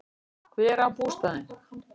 Hver á bústaðinn?